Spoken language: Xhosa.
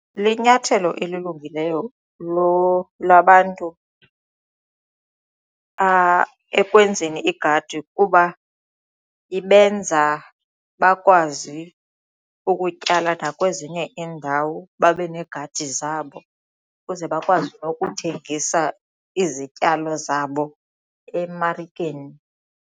Linyathelo elilungileyo labantu ekwenzeni igadi kuba ibenza bakwazi ukutyala nakwezinye iindawo babe neegadi zabo ukuze bakwazi nokuthengisa izityalo zabo emarikeni.